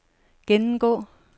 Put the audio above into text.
gennemgå